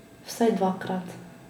Vsaj dvakrat.